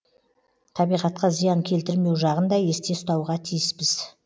табиғатқа зиян келтірмеу жағын да есте ұстауға тиіспіз